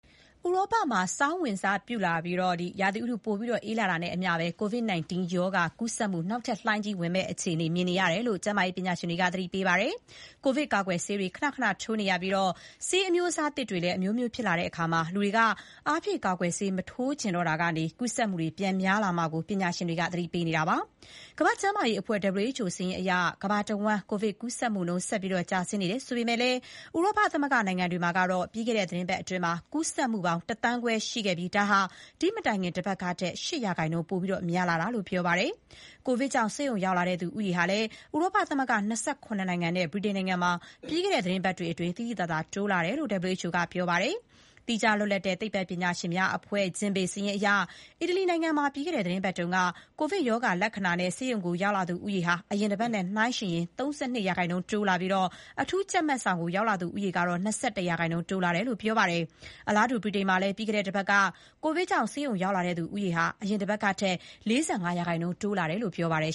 ဥရောပမှာဆောင်းဝင်စပြုလာပြီး ရာသီဥတု ပိုအေးလာတာနဲ့အမျှ COVID ကပ်ရောဂါ နောက်ထပ်လှိုင်းကြီးဝင်မယ့်အခြေအနေ မြင်နေရတယ်လို့ ကျန်းမာရေးပညာရှင်တွေက သတိပေးနေပါတယ်။ ကိုဗစ်ကာကွယ်ဆေးတွေ ခနခန ထိုးနေရပြီး ဆေးအမျိုးအစားသစ်တွေလည်း အမျိုးမျိုးဖြစ်လာတဲ့အခါ လူတွေက အားဖြည့်ကာကွယ်ဆေးမထိုးချင်တော့တာကနေ ကူးစက် မှုတွေ ပြန်များလာမှာကိုလည်း ပညာရှင်တွေက သတိပေးနေတာပါ။ ကမ္ဘာ့ကျန်းမာရေးအဖွဲ့ WHO စာရင်းအရ ကမ္ဘာတဝန်း ကိုဗစ်ကူးစက်မှုနှုန်း ဆက်လက် ကျဆင်းနေတယ်ဆိုပေမယ့် ဥရောပသမဂ္ဂနိုင်ငံတွေမှာတော့ ပြီးခဲ့တဲ့ သီတင်းပတ်အတွင်း ကူးစက်မှုပေါင်း ၁ သန်းခွဲရှိခဲ့ပြီး ဒါဟာ ဒီ့မတိုင်ခင်တပတ်ကထက် ၈ % ပိုများလာတာလို့ ပြောပါတယ်။ ကိုဗစ်ကြောင့် ဆေးရုံရောက်လာသူဦးရေဟာလည်း ဥရောပသမဂ္ဂ ၂၇ နိုင်ငံနဲ့ ဗြိတိန်မှာ ပြီးခဲ့တဲ့ သီတင်းပတ်တွေအတွင်း တိုးလာတယ်လို့ WHO ကပြောပါတယ်။ သီးခြားလွတ် လပ်တဲ့ သိပ္ပံပညာရှင်များအဖွဲ့ Gimbe (ဂျင်ဘေ) စာရင်းအရ အီတလီနိုင်ငံမှာ ပြီးခဲ့တဲ့သီတင်းပတ်က ကိုဗစ်ရောဂါလက္ခဏာနဲ့ ဆေးရုံရောက်လာသူ ဦးရေ အရင်တပတ်နဲ့ နှိုင်းယှဉ်ရင် ၃၂ % တိုးလာပြီး အထူးကြပ်မတ်ဆောင်ကိုရောက်လာသူဦးရေကတော့ ၂၁ % တိုးလာတယ်လို့ ဆိုပါတယ်။ အလားတူ ဗြိတိန်မှာလည်း ပြီးခဲ့တဲ့တပတ်က ကိုဗစ်ကြောင့် ဆေးရုံရောက်လာသူ ဦးရေဟာ ဒီ့အရင်တပတ်ကထက် ၄၅ % တိုးလာတယ်လို့ ပြောပါတယ်